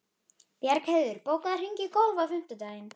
Bjargheiður, bókaðu hring í golf á fimmtudaginn.